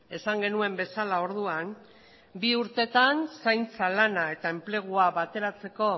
esan genuen bezala orduan bi urtetan zaintza lana eta enplegua bateratzeko